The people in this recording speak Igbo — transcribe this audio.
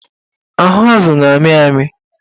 Ahụ azụ na-amị amị